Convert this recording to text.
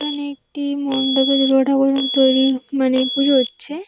এখানে একটি মণ্ডপে দুর্গাঠাকুরের মূর্তি তৈরি মানে পুজো হচ্ছে।